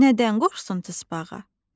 Nədən qorxsun tısbağa?